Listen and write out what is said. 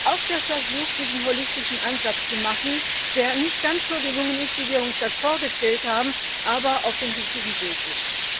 Auch der Versuch, diesen holistischen Ansatz zu verfolgen, der nicht ganz so gelungen ist, wie wir uns das vorgestellt haben, aber auf dem richtigen Weg ist.